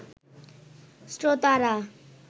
শ্রোতারা